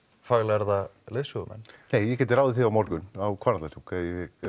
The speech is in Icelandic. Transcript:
faglærða leiðsögumenn nei ég gæti ráðið þig á morgun á Hvannadalshnjúk ef